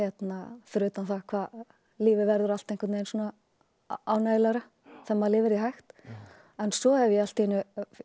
fyrir utan það hvað lífið verður allt ánægjulegra þegar maður lifir því hægt en svo hef ég allt í einu